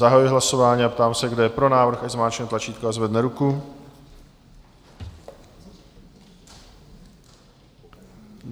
Zahajuji hlasování a ptám se, kdo je pro návrh, ať zmáčkne tlačítko a zvedne ruku.